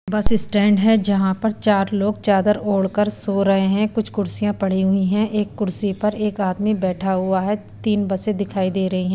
बस स्टैंड है जहां पर चार लोग चादर ओढ़कर सो रहे हैं कुछ कुर्सियां पड़ी हुई हैं एक कुर्सी पर एक आदमी बैठा हुआ है तीन बसे दिखाई दे रही हैं।